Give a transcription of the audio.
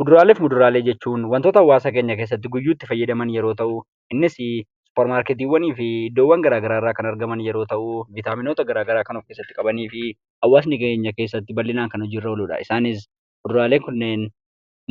Kuduraaleefi muduraalee jechuun wantoota hawaasa keenya keessatti guyyuu itti fayyadamaan yeroo ta'u, innis suupermarkettiwwanifi iddoowwan gara garaa irra kan argaman yeroo ta'u, vitaminoota gara garaa kan of keessatti qabanifi hawaasa keenyaa keessatti kan hojii irra oluudha. Isaanis kuduraaleen kunnen